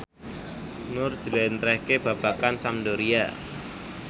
Nur njlentrehake babagan Sampdoria